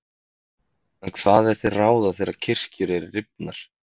En hvað er til ráða þegar kirkjur eru rifnar?